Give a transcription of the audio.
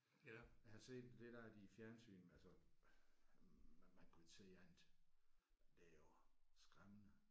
Eller jeg har set det der de i fjernsynet altså at man kunne se at det er jo skræmmende